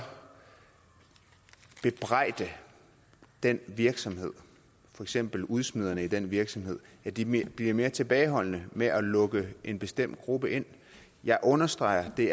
bebrejde den virksomhed for eksempel udsmiderne i den virksomhed at de bliver mere tilbageholdende med at lukke en bestemt gruppe ind jeg understreger at det